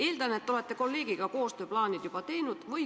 Eeldan, et te olete kolleegiga koostööplaanid juba teinud.